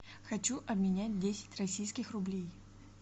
хочу обменять десять российских рублей